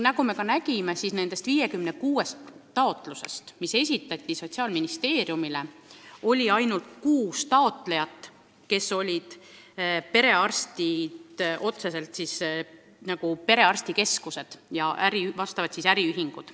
Nagu me kuulsime, Sotsiaalministeeriumile esitati 56 taotlust ja ainult kuus nende esitajatest olid perearstikeskused ja seega ka äriühingud.